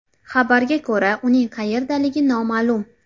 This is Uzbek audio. Xabarga ko‘ra, uning qayerdaligi noma’lum.